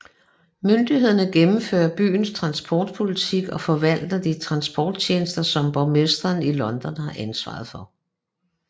Myndigheden gennemfører byens transportpolitik og forvalter de transporttjenester som borgmesteren i London har ansvar for